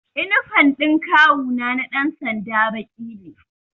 Inifam ɗin kawu na na ɗan sanda baƙi ne